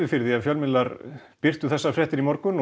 fyrir því að fjölmiðlar birtu fréttina í morgun